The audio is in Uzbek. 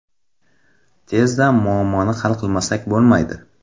Tezda muammoni hal qilmasak bo‘lmaydi”.